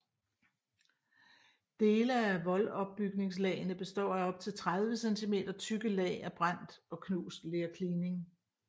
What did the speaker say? Dele af voldopbygningslagene består af op til 30 centimeter tykke lag af brændt og knust lerklining